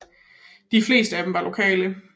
De fleste af dem var lokale